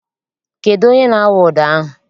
Kedụ onye na-awụ ụdọ ahụ?